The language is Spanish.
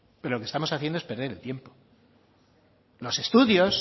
pero lo que estamos haciendo es perder el tiempo